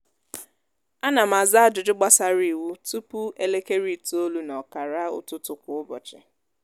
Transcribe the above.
ánà m àzá ájụjụ gbàsárá iwu tụpụ elekere itoolu nà ọkàrà ụtụtụ kwa ụbọchị